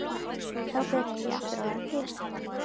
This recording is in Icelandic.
Þá byrjaði ég aftur að vera til.